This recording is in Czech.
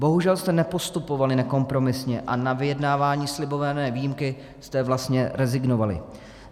Bohužel jste nepostupovali nekompromisně a na vyjednávání slibované výjimky jste vlastně rezignovali.